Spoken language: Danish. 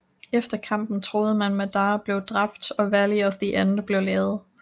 Efter kampen troede man Madara blev drabt og Valley of the End blev lavet